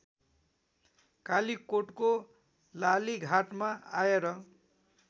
कालीकोटको लालीघाटमा आएर